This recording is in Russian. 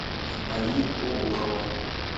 али обухова